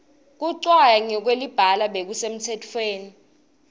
kucwaya ngekwelibala bekusemtsetweni